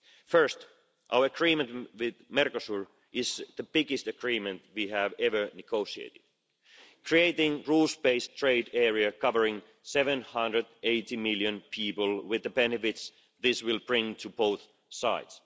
First, our agreement with Mercosur, is the biggest agreement we have ever negotiated, creating a rules based trade area covering 780 million people, with the benefits this will bring to both sides.